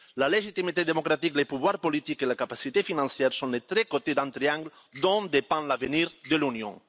La légitimité démocratique, les pouvoirs politiques et la capacité financière sont les trois côtés d'un triangle dont dépend l'avenir de l'Union.